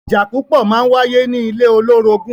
Ìjà púpọ̀ máa wáyé ní ilé olórogún.